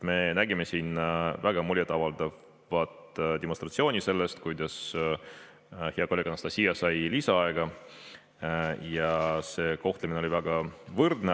Me nägime siin väga muljetavaldavat demonstratsiooni, kuidas hea kolleeg Anastassia sai lisaaega, ja see kohtlemine oli väga võrdne.